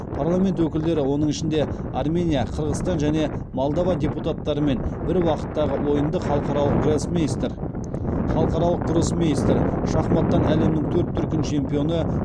парламент өкілдері оның ішінде армения қырғызстан және молдова депутаттарымен бір уақыттағы ойындыхалықаралық гроссмейстер халықаралық гроссмейстер шахматтан әлемнің төрт дүркін чемпионы